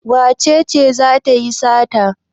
Wace ce za ta yi sata?